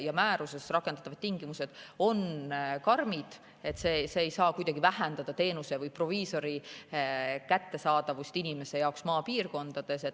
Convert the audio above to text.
Määruses rakendatavad tingimused on karmid, see ei saa inimese jaoks kuidagi vähendada proviisori kättesaadavust maapiirkondades.